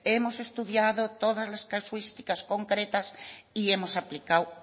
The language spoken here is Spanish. hemos estudiado todas las casuísticas concretas y hemos aplicado